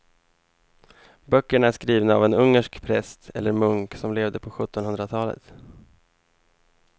Böckerna är skrivna av en ungersk präst eller munk som levde på sjuttonhundratalet.